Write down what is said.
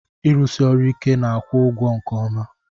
Irụsi ọrụ ike n'akwụ ụgwo nke ọma.